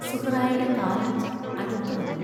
സുഹ്റായുടെ കാലൊച്ച് അടുത്തു വന്നു.